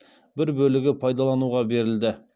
бір бөлігі пайдалануға берілді